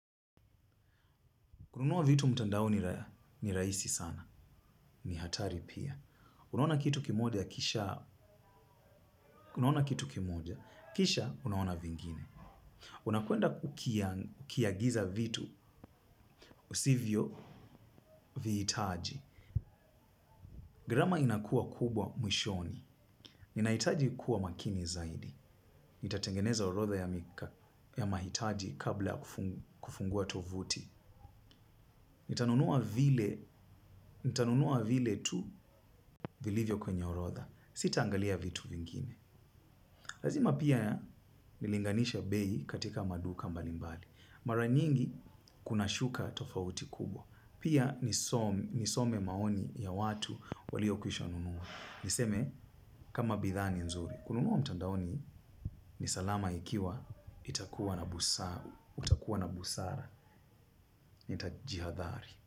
Kununua vitu mtandaoni ni rahisi sana. Ni hatari pia. Unaona kitu kimoja kisha unaona vingine. Unakwenda kukiagiza vitu usivyo vihitaji. Gharama inakua kubwa mwishoni. Nina hitaji kuwa makini zaidi. Nitatengeneza orodha ya mahitaji kabla ya kufungua tovuti. Nitanunua vile tu vilivyo kwenye orodha. Sita angalia vitu vingine. Lazima pia nilinganishe bei katika maduka mbali mbali. Mara nyingi kuna shuka tofauti kubwa, pia nisome maoni ya watu walio kwisha nunua. Niseme kama bidhaa ni nzuri. Kununua mtandaoni ni salama ikiwa utakuwa na busara nita jihadhari.